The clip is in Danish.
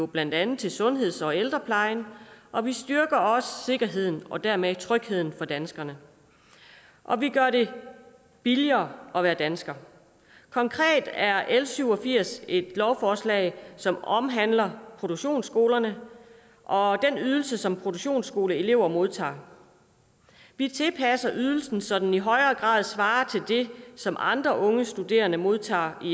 blandt andet til sundheds og ældreplejen og vi styrker også sikkerheden og dermed trygheden for danskerne og vi gør det billigere at være dansker konkret er l syv og firs et lovforslag som omhandler produktionsskolerne og den ydelse som produktionsskoleelever modtager vi tilpasser ydelsen så den i højere grad svarer til det som andre unge studerende modtager